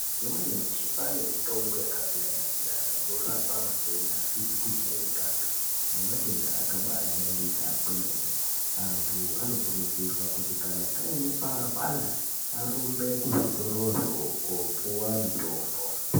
Mazuwa anyamashi kwaane mitombo yakasiyana-siyana ,inorapa matenda asizi kujairikapi ,nematenda akabaajairika kwemene. Antu anokurudzirwa kuti kana aine panopanda arumbe kuzvitorozvo koopuwa mitombo.